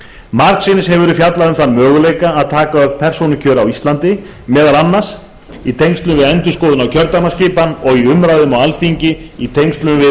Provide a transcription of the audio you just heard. margsinnis hefur verið fjallað um þann möguleika að taka upp persónukjör hér á landi meðal annars í tengslum við endurskoðun á kjördæmaskipan og í umræðum á alþingi í tengslum við